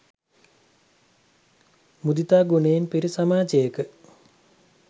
මුදිතා ගුණයෙන් පිරි සමාජයක